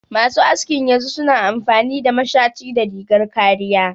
Masu askin yanzu su na amfani da mashaci da rigar kariya